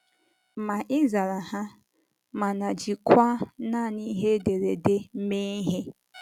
Ma ị zara ha, mana ịjikwa nanị ihe ederede mee ihe!